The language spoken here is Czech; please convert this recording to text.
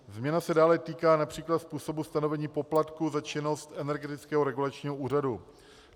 Změna se dále týká například způsobu stanovení poplatku za činnost Energetického regulačního úřadu.